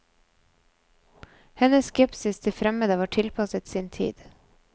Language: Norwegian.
Hennes skepsis til fremmede var tilpasset sin tid.